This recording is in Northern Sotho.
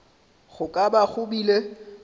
go ka ba go bile